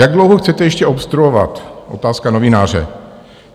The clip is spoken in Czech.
"Jak dlouho chcete ještě obstruovat?" - otázka novináře.